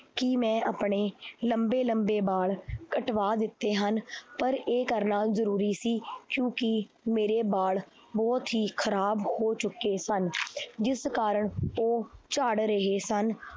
ਕਿ ਮੈਂ ਆਪਣੇ ਲੰਬੇ ਲੰਬੇ ਬਾਲ ਕਟਵਾ ਦਿੱਤੇ ਹਨ ਪਰ ਇਹ ਕਰਨਾ ਜ਼ਰੂਰੀ ਸੀ ਕਿਉਂਕਿ ਮੇਰੇ ਬਾਲ ਬਹੁਤ ਹੀ ਖ਼ਰਾਬ ਹੋ ਚੁੱਕੇ ਸਨ ਜਿਸ ਕਾਰਨ ਉਹ ਝੜ ਰਹੇ ਸਨ